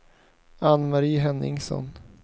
Anne-Marie Henningsson